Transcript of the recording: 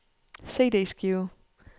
CD-skive